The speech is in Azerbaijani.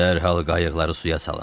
Dərhal qayıqları suya salın.